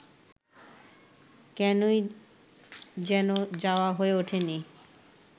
কেনই যেন যাওয়া হয়ে ওঠেনি